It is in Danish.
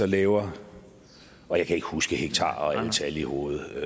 laver og jeg kan ikke huske hektarer og alle tal i hovedet